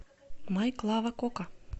май клава кока